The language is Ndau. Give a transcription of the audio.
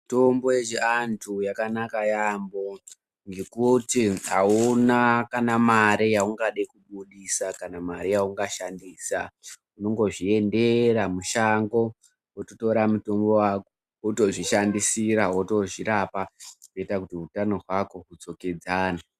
Mitombo yechiantu yakanaka yaampho ngekuti hauna kana mare yaungade kubudisa, kana mare yaungashandisa. Unongozviendera mushango, wototora mutombo wako, wotozvishandisira, wotozvirapa kuita kuti utano hwako hudzokedzane.